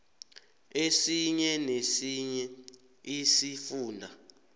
esinye nesinye isifunda